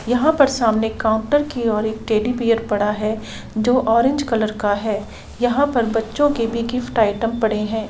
यह पर सामने काउन्टर की ओर एक टेडी बीयर पड़ा है जो ऑरेंज कलर का है यह पर बच्चों के भी गिफ्ट आइटम पड़े है।